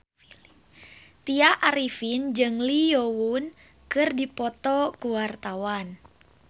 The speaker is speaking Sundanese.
Tya Arifin jeung Lee Yo Won keur dipoto ku wartawan